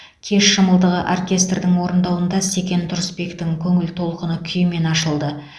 кеш шымылдығы оркестрдің орындауында секен тұрысбектің көңіл толқыны күйімен ашылды